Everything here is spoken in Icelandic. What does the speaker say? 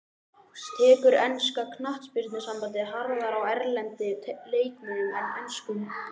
Tekur enska knattspyrnusambandið harðar á erlendum leikmönnum en enskum?